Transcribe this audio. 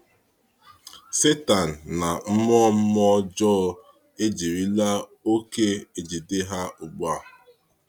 Sátán na mmụọ mmụọ ọjọọ ejirila oke ejide ha ugbu a.